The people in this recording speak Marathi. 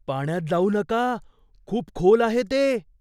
पाण्यात जाऊ नका. खूप खोल आहे ते!